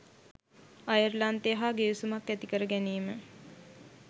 අයර්ලන්තය හා ගිවිසුමක් ඇති කර ගැනීම